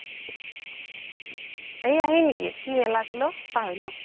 এইয়া সেই নেকি কি মেলা আছিল ঔ পাহৰিলো